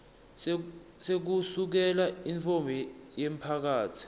sekusukela intfombi yemphakatsi